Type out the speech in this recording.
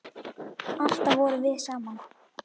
Alltaf vorum við saman.